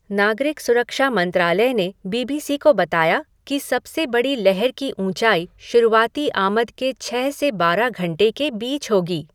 नागरिक सुरक्षा मंत्रालय ने बीबीसी को बताया कि सबसे बड़ी लहर की ऊंचाई शुरुआती आमद के छह से बारह घंटे के बीच होगी।